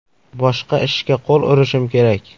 Boshqa ishga qo‘l urishim kerak.